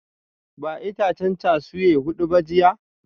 Ba itacen cashew hudu ba jiya?